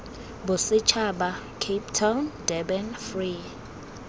bosetšhaba cape town durban free